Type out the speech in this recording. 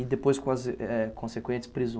E depois com as, eh, consequentes